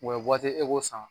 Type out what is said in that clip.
o waati e k'o san